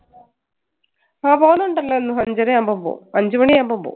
ആ പോകുന്നുണ്ടല്ലോ അഞ്ചര ആകുമ്പോ പോകും അഞ്ചുമണി ആകുമ്പോ പോകും.